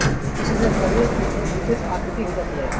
इससे शरीर की एक विशेष आकृति हो जाती है